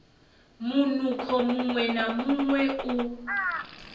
munukho muṅwe na muṅwe u